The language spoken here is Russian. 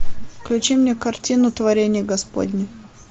включи мне картину творение господне